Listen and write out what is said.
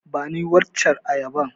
Bani waccen ayabar.